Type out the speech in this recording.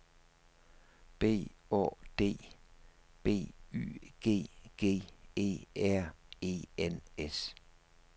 B Å D B Y G G E R E N S